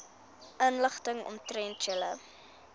inligting omtrent julle